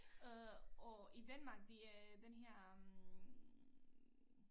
Øh og i Danmark der er den her hm